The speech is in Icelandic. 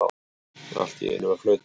Allt í einu var flautað.